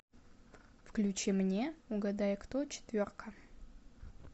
включи мне угадай кто четверка